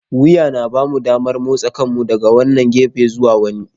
Wuya yana ba mu damar motsa kanmu daga wannan gefe zuwa wani.